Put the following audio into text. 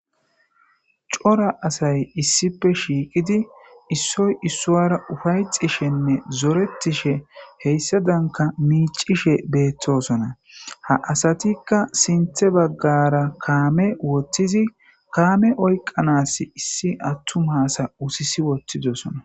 Cora asay issippe shiqidi issoy issara ufayetishe zoretishe hesadanka ufayetisha micishe betosona ha asatika sinthe bagara kame wothidi kame oyqanas issi attuma ase uttis wothidosona